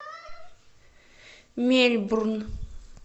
мельбурн